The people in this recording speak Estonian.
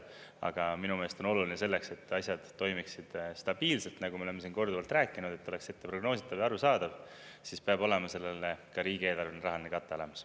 Aga minu meelest on oluline selleks, et asjad toimiksid stabiilselt, nagu me oleme siin korduvalt rääkinud, et oleks etteprognoositav ja arusaadav, siis peab olema sellele ka riigieelarveline rahaline kate olemas.